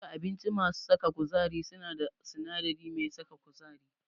Duka abinci masu saka kuzari suna da sinadari mai saka kuzari.